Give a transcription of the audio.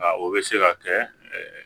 Nka o bɛ se ka kɛ